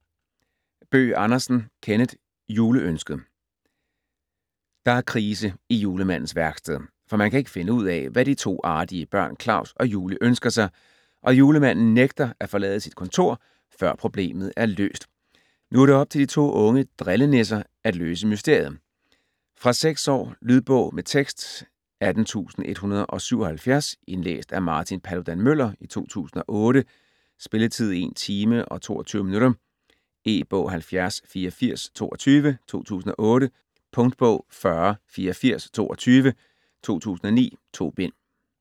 Bøgh Andersen, Kenneth: Juleønsket Der er krise i julemandens værksted, for man kan ikke finde ud af, hvad de to artige børn Klaus og Julie ønsker sig, og Julemanden nægter at forlade sit kontor, før problemet er løst. Nu er det op til to unge drillenisser at løse mysteriet. Fra 6 år. Lydbog med tekst 18177 Indlæst af Martin Paludan-Müller, 2008. Spilletid: 1 timer, 22 minutter. E-bog 708422 2008. Punktbog 408422 2009. 2 bind.